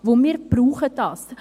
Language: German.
Denn wir brauchen dies.